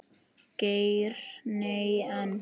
Geir Nei, en.